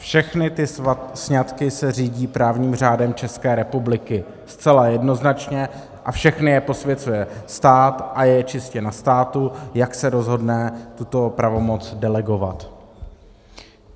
Všechny ty sňatky se řídí právním řádem České republiky zcela jednoznačně a všechny je posvěcuje stát a je čistě na státu, jak se rozhodne tuto pravomoc delegovat.